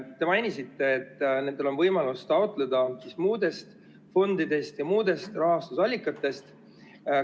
Te mainisite, et nendel on võimalus taotleda raha muudest fondidest ja muudest rahastusallikatest.